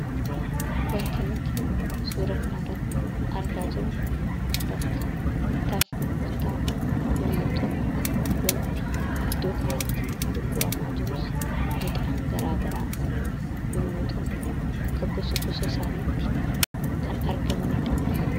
Waanti nuti suura kana irratti argaa jirru bakka bittaaf gurgurtaa yemmuu ta'u waanti iddoo kanatti gurguramaa jirus midhaan garaa garaa yemmuu ta'u akka gosa gosa isaaniitti kan argamanidha.